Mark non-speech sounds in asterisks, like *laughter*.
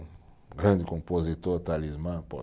Grande compositor, o Talismã *unintelligible*